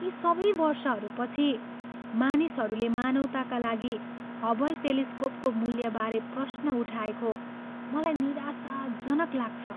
यी सबै वर्षहरूपछि, मानिसहरूले मानवताका लागि हबल टेलिस्कोपको मूल्यबारे प्रश्न उठाएको मलाई निराशाजनक लाग्छ।